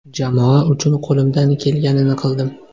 Jamoa uchun qo‘limdan kelganini qildim.